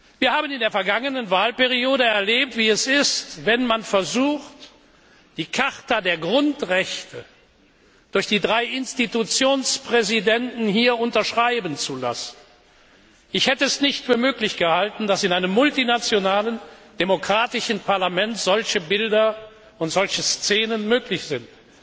Wir haben in der vergangenen Wahlperiode erlebt, wie es ist, wenn man versucht, die Charta der Grundrechte durch die drei Institutionspräsidenten hier unterschreiben zu lassen. Ich hätte es nicht für möglich gehalten, dass in einem multinationalen, demokratischen Parlament solche Bilder und Szenen möglich sind.